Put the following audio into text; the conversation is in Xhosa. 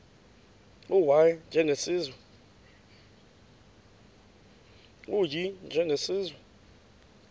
u y njengesiwezi